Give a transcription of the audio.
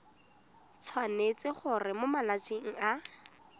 tshwanetse gore mo malatsing a